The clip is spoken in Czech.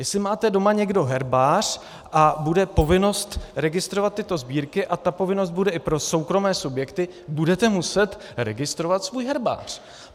Jestli máte doma někdo herbář a bude povinnost registrovat tyto sbírky a ta povinnost bude i pro soukromé subjekty, budete muset registrovat svůj herbář.